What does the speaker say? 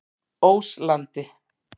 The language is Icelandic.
Óslandi